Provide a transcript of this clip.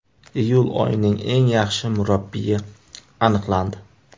Iyul oyining eng yaxshi murabbiyi aniqlandi.